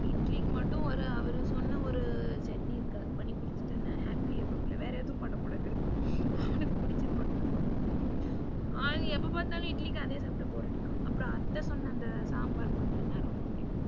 இட்லிக்கு மட்டும் அவரு சொன்னா ஒரு சட்னி இருக்கு அது பண்ணிக் குடுத்துடேனா happy ஆயிருவாப்புல்ல. வேற ஒன்னும் பண்ணகூடாது அவனுக்கு புடிச்சது மட்டும் தான் பண்ணனும். ஆ எப்ப பாத்தாலும் இட்லிக்கு அதே சாப்டா bore அடிக்கும். அத்த சொன்னா அந்த சாம்பார் பண்ணுனேன்னா ரொம்ப புடிக்கும்.